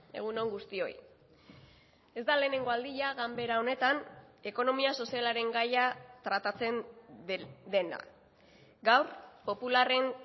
egun on guztioi ez da lehenengo aldia ganbera honetan ekonomia sozialaren gaia tratatzen dena gaur popularren